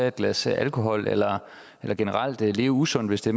et glas alkohol eller eller generelt leve usundt hvis det